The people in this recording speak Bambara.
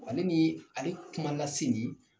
W'ale nii ale kumanda Sidi